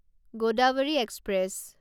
Godavari express